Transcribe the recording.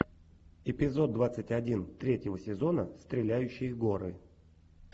эпизод двадцать один третьего сезона стреляющие горы